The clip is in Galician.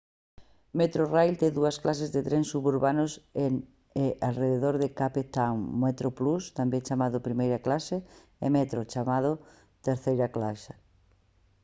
metrorail ten dúas clases de trens suburbanos en e arredor de cape town: metroplus tamén chamado primeira clase e metro chamado terceira clase